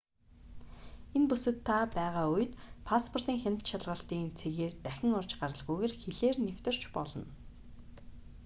энэ бүсэд та байгаа үед пасспортын хяналт шалгалтын цэгээр дахин орж гаралгүйгээр хилээр нэвтэрч болно